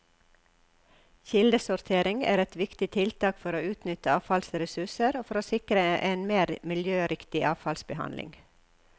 Kildesortering er et viktig tiltak for å utnytte avfallsressurser og for å sikre en mer miljøriktig avfallsbehandling.